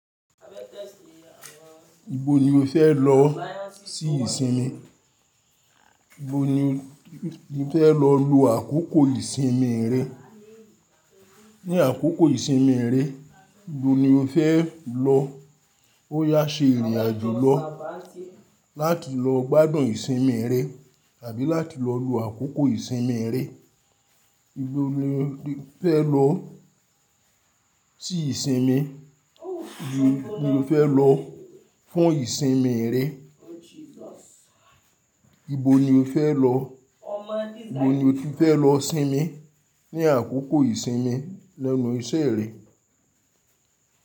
Ibo ni o fẹ́ lọ sí ìsinmi? Ibo ni o ti fẹ́ lọ lu àkókò ìsinmi rẹ? Ni àkókò ìsinmi rẹ, ibo ni o fẹ́ lọ? Ó yá ṣe ìrìn àjò lọ láti lọ gbádùn ìsinmi rẹ àbí láti lọ lu àkókò ìsinmi rẹ. Ibo lo fẹ́ lọ sí ìsinmi? Ibo ni o fẹ́ lọ fún ìsinmi rẹ? Ibo ni o fẹ́ lọ? Ibo ni o ti fẹ́ lọ sinmi ní àkókò ìsinmi lẹ́nu iṣẹ́ rẹ?